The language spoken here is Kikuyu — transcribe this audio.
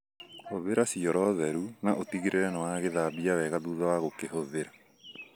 Hũthĩra cioro theru na ũtigĩrĩre nĩwagĩthambia wega thutha wa gũkĩhũthĩra.